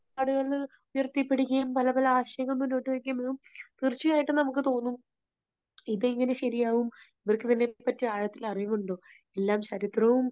നിലപാടുകൾ ഉയർത്തിപ്പിടിക്കുകയും പല പല ആശയങ്ങൾ മുന്നോട്ടുവയ്ക്കുകയും ചെയ്യുമ്പോൾ തീർച്ചയായിട്ടും നമുക്ക് തോന്നും ഇതെങ്ങനെ ശരിയാകും, ഇവർക്കെതിരെ പറ്റി ആഴത്തിൽ അറിവുണ്ടോ? എല്ലാം ചരിത്രവും